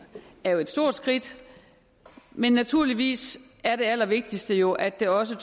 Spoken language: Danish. er jo et stort skridt men naturligvis er det allervigtigste jo at det også